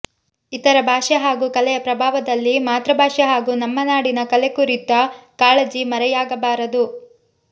ಇತರೆ ಭಾಷೆ ಹಾಗೂ ಕಲೆಯ ಪ್ರಭಾವದಲ್ಲಿ ಮಾತೃಭಾಷೆ ಹಾಗೂ ನಮ್ಮ ನಾಡಿನ ಕಲೆ ಕುರಿತ ಕಾಳಜಿ ಮರೆಯಾಗಬಾರದು